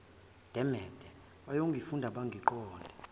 demede bayongifunda bangiqonde